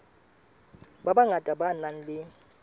ba bangata ba nang le